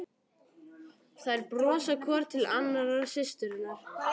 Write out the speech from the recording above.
Þær brosa hvor til annarrar, systurnar.